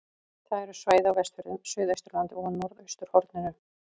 Það eru svæði á Vestfjörðum, Suðausturlandi og á norðausturhorninu.